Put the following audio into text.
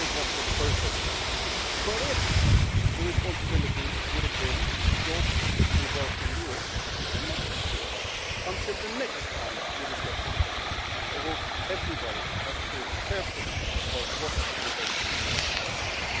I would have gone for the first option, but if the responsibility had been jobs and wealth in Europe, I am not so sure. Until the next time we discuss this topic, I hope everybody has thought carefully about what would be best for Europe in that case.